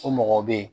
O mɔgɔ bɛ ye